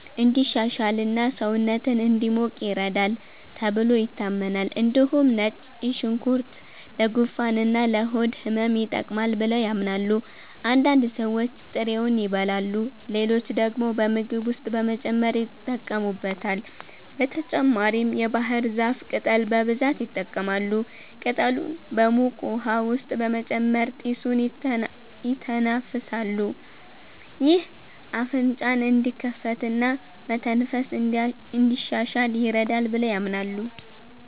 እንዲሻሽልና ሰውነትን እንዲሞቅ ይረዳል ተብሎ ይታመናል። እንዲሁም ነጭ ሽንኩርት ለጉንፋንና ለሆድ ህመም ይጠቅማል ብለው ያምናሉ። አንዳንድ ሰዎች ጥሬውን ይበላሉ፣ ሌሎች ደግሞ በምግብ ውስጥ በመጨመር ይጠቀሙበታል። በተጨማሪም የባህር ዛፍ ቅጠል በብዛት ይጠቀማሉ። ቅጠሉን በሙቅ ውሃ ውስጥ በመጨመር ጢሱን ይተነፍሳሉ። ይህ አፍንጫን እንዲከፍትና መተንፈስን እንዲያሻሽል ይረዳል ብለው ያምናሉ።